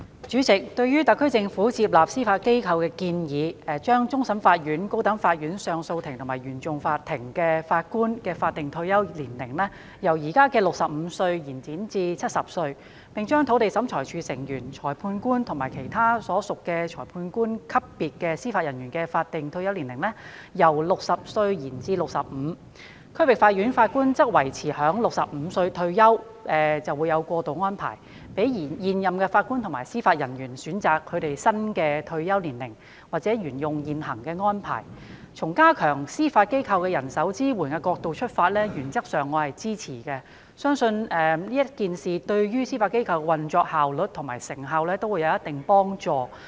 主席，對於特區政府接納司法機構的建議，包括將終審法院、高等法院上訴法庭及原訟法庭法官的法定退休年齡，由現時的65歲延展至70歲；將土地審裁處成員、裁判官及其他屬裁判官級別的司法人員的法定退休年齡，由60歲延展至65歲；將區域法院法官的退休年齡維持在65歲，但設有過渡安排；以及讓現任法官及司法人員選擇是否轉至新退休安排，或者沿用現行安排，從加強司法機構的人手支援的角度而言，我原則上是支持的，並且相信有關建議會對司法機構的運作效率和成效有一定幫助。